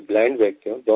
मैं ब्लाइंड व्यक्ति हूँ